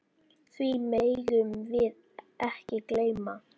Því megum við ekki gleyma.